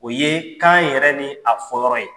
O ye kan yɛrɛ ni a fɔyɔrɔ ye